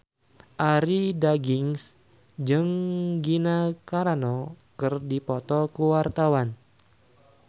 Arie Daginks jeung Gina Carano keur dipoto ku wartawan